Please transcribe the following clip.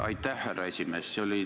Aitäh, härra esimees!